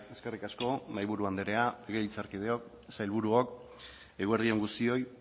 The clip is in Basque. eskerrik asko mahaiburu andrea legebiltzarkideok sailburuok eguerdi on guztioi